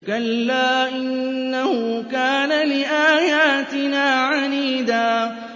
كَلَّا ۖ إِنَّهُ كَانَ لِآيَاتِنَا عَنِيدًا